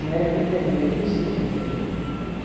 Não era trinta dia, era quinze dia a féria.